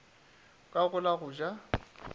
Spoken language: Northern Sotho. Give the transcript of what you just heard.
ka go la go ja